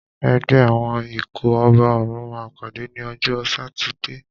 Ẹgbẹ́ àwọn ikọ̀ ọba òrùn máa pàdé ní ọjọ́ sátidé.